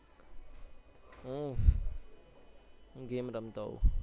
હું game રમતો હોઉં